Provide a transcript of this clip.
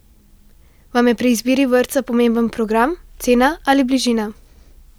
Vam je pri izbiri vrtca pomemben program, cena ali bližina?